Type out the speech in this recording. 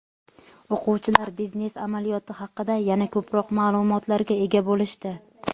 O‘quvchilar biznes amaliyoti haqida yana ko‘proq ma’lumotlarga ega bo‘lishdi.